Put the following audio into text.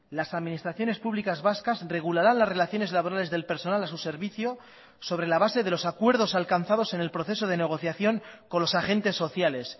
las administraciones públicas vascas regularán las relaciones laborales del personal a su servicio sobre la base de los acuerdos alcanzados en el proceso de negociación con los agentes sociales